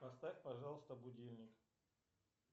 поставь пожалуйста будильник